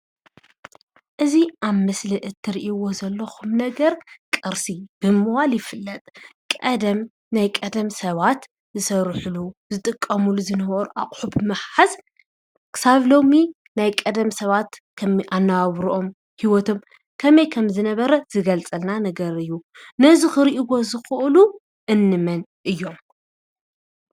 እዚ ኣብ ምስሊ እትሪእዎ ዘለኹም ነገር ቅርሲ ብምባል ይፍለጥ ።ቀደም ናይ ቀደም ሰባት ዝሰርሕሉ ዝጥቀምሉ ዝነበሩ ኣቕሑ ብምሓዝ ክሳብ ሎሚ ናይ ቀደም ሰባት ከመይ ኣነባብረኦም ሂወቶም ከመይ ከምዝነበረ ዝገልፀልና ነገር እዩ፡፡ ነዚ ኽሪእዎ ዝኽእሉ እንመን እዮም?